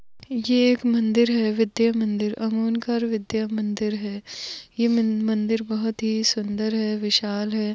ये एक मंदिर है विद्यामंदिर आमोणकर विद्यामंदिर है ये मंदिर बहुत हि सुंदर है विशाल है।